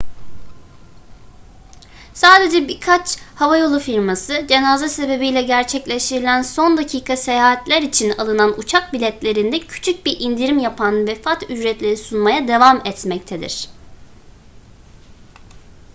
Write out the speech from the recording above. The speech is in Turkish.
sadece birkaç havayolu firması cenaze sebebiyle gerçekleştirilen son dakika seyahatler için alınan uçak biletlerinde küçük bir indirim yapan vefat ücretleri sunmaya devam etmektedir